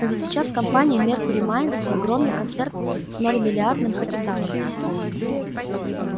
но ведь сейчас компания меркюри майнз огромный концерт с многомиллиардным капиталом